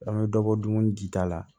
An bɛ dɔbɔ dumuni di ta la